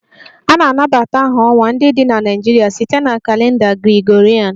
A na-anabata aha ọnwa ndị dị na Naịjirịa site na kalenda Gregorian